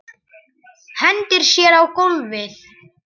Hendir sér á gólfið.